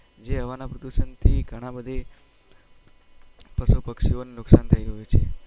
જે હવાના પ્રદુસન થી પશુ પક્ષી ઓને નુકસાન થઇ છે